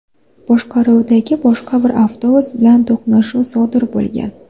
boshqaruvidagi boshqa bir avtobus bilan to‘qnashuv sodir bo‘lgan.